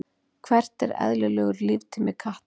hver er eðlilegur líftími katta